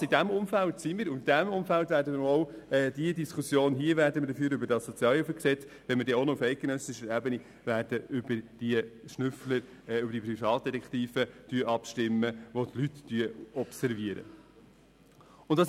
In diesem Umfeld befinden wir uns, und in diesem Umfeld werden wir hier ebenfalls die Diskussion über das vorliegende SHG führen, wenn wir dann auch noch auf eidgenössischer Ebene über diese Schnüffler, diese Privatdetektive abstimmen, welche die Leute observieren sollen.